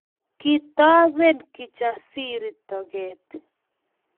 Kitoben Kijasiri toget